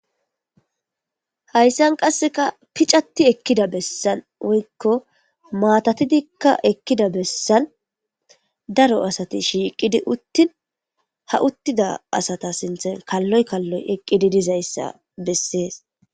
hayssan qasseka picati ekkida bessan woykko maatatidikka ekkida bessan daro asati shiiqidi uttin ha uttida asata sinthen kalloy kalloy eqqidi dizayssa bessees